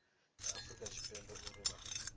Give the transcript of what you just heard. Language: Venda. ya afurika tshipembe uri vha